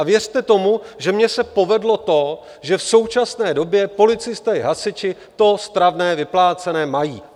A věřte tomu, že mně se povedlo to, že v současné době policisté i hasiči to stravné vyplácené mají.